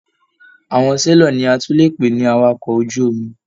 Àwọn selọ̀ ní a tún lè pè ní àwàkọ̀ ojú omi.